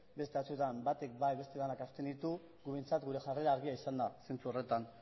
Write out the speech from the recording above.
beste batzuetan batek bai beste denak abstenitu guk behintzat gure jarrera argia izan da zentzu horretan